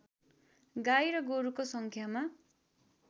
गाई र गोरुको सङ्ख्यामा